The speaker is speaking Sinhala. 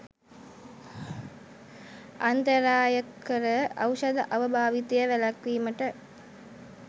අන්තරායකර ඖෂධ අව භාවිතය වැළැක්වීමට